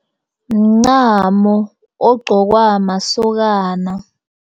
Mncamo ogqokwa masokana.